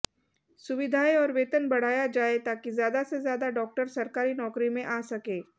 सुविधाएं और वेतन बढ़ाया जाए ताकि ज्यादा से ज्यादा डॉक्टर सरकारी नौकरी में आ सकें